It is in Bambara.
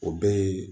O bɛɛ ye